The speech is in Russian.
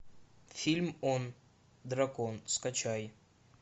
фильм он дракон скачай